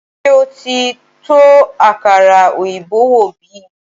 Ṣé o ti tó àkàrà òyìnbó wò bi